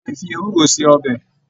A lè fí ewúro ṣe ọbẹ.